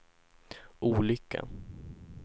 olyckan